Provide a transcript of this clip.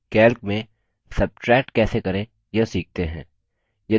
calc में subtract कैसे करें यह सीखते हैं